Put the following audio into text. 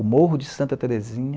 O morro de Santa Terezinha.